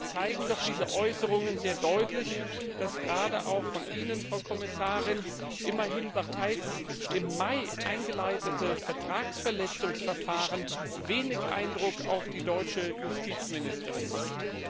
Zumindest zeigen doch diese Äußerungen sehr deutlich, dass das von Ihnen, Frau Kommissarin, immerhin bereits im Mai eingeleitete Vertragsverletzungsverfahren wenig Eindruck auf die deutsche Justizministerin macht.